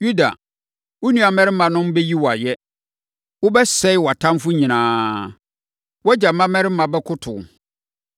“Yuda, wo nuammarimanom bɛyi wo ayɛ. Wobɛsɛe wʼatamfoɔ nyinaa. Wʼagya mmammarima bɛkoto wo.